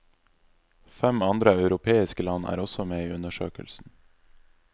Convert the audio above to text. Fem andre europeiske land er også med i undersøkelsen.